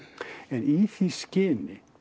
í því skyni